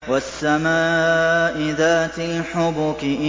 وَالسَّمَاءِ ذَاتِ الْحُبُكِ